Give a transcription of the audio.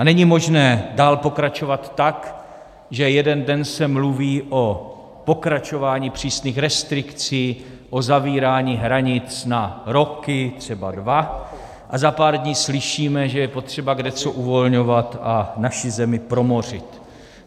A není možné dál pokračovat tak, že jeden den se mluví o pokračování přísných restrikcí, o zavírání hranic na roky, třeba dva, a za pár dní slyšíme, že je potřeba kdeco uvolňovat a naši zemi promořit.